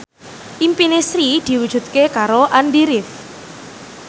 impine Sri diwujudke karo Andy rif